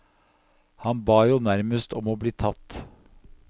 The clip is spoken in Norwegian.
Han ba jo nærmest om å bli tatt.